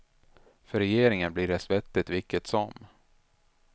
För regeringen blir det svettigt vilket som.